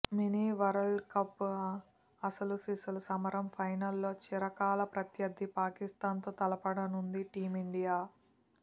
mini world cup అసలు సిసలు సమరం ఫైనల్లో చిరకాల ప్రత్యర్థి పాకిస్థాన్ తో తలపడనుంది టీమిండియా